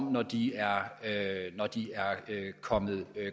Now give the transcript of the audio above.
når de er kommet